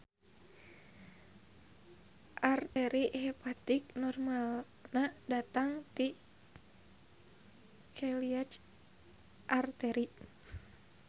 Arteri hepatik normalna datang ti celiac artery.